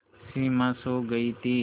सिमा सो गई थी